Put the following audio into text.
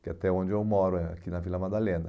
Que é até onde eu moro, eh aqui na Vila Madalena.